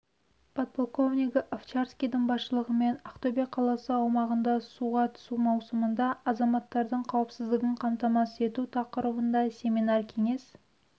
подполковнигі овчарскийдің басшылығымен ақтөбе қаласы аумағында суға түсу маусымында азаматтардың қауіпсіздігін қамтамасыз ету тақырыбында семинар-кеңес